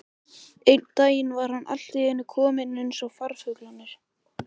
Einn daginn var hann allt í einu kominn eins og farfuglarnir.